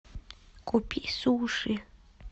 купи суши